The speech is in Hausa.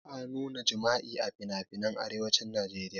Ba a nuna jima'i a finafinan arewacin najeriya